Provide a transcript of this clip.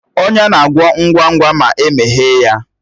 Ọnya na-agwọ ngwa ngwa ma emeghe ya